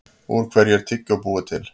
Úr hverju er tyggjó búið til?